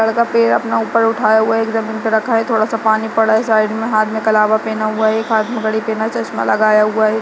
लड़का पैर अपना ऊपर उठाया हुआ है एक जमीन पर रखा है थोड़ा सा पानी पड़ा है साइड मे हाथ मे कलावा पहना हुआ है एक हाथ मे घड़ी पहना है चश्मा लगाया हुआ है।